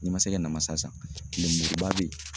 N'i ma se kɛ namasa san lenmuruba bɛ yen